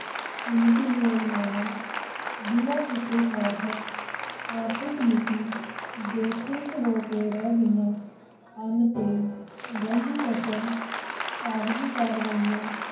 ਭਿੰਨ-ਭਿੰਨ ਯੋਜਨਾਵਾਂ ਬਿਨਾਂ ਕਿਸੇ ਸਾਰਥਕ ਆਰਥਿਕ ਨੀਤੀ ਦੇ ਠੁੱਸ ਹੋ ਕੇ ਰਹਿ ਗਈਆਂ ਹਨ ਤੇ ਰਹਿੰਦੀ ਕਸਰ ਕਾਗਜ਼ੀ ਕਾਰਵਾਈਆਂ,